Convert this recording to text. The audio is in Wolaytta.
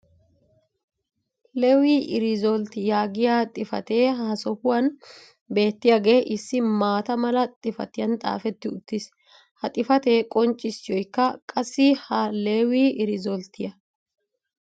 leewii riizzolti yaagiyaa xifatee ha sohuwan beettiyaage issi maata mala xifattiyan xaafetti uttis. ha xifatee qonccissiyooykka qassi ha leewi riizzolttiya.